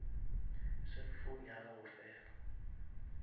cellphone ya gago fela